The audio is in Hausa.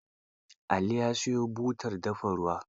Ali ya siyo butar dafa ruwa.